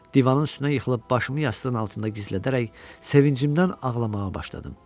Divanın üstünə yıxılıb başımı yastığın altında gizlədərək sevincimdən ağlamağa başladım.